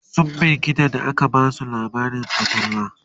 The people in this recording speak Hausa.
sun firgita da aka Basu labarin fatalwa